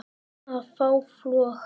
að fá flog